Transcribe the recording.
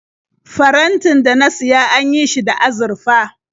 Farantin da na siya an yi shi da azurfa.